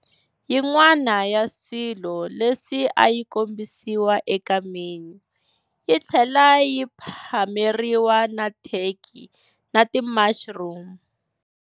Yin'wana ya swilo leswi ayi kombisiwa eka menu, yitlhela yi phameriwa na turkey na ti mushroom.